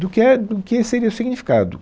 do que é, do que seria o significado.